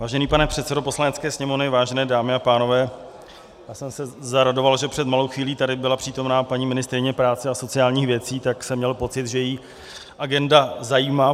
Vážený pane předsedo Poslanecké sněmovny, vážené dámy a pánové, já jsem se zaradoval, že před malou chvílí tady byla přítomna paní ministryně práce a sociálních věcí, tak jsem měl pocit, že ji agenda zajímá.